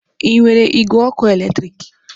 Ị nwere igwe ọkụ eletrik?